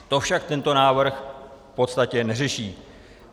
To však tento návrh v podstatě neřeší.